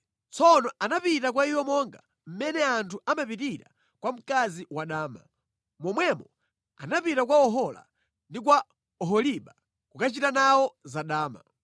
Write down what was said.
Tsono anapita kwa iwo monga mmene anthu amapitira kwa mkazi wadama. Momwemo anapita kwa Ohola ndi kwa Oholiba kukachita nawo zadama.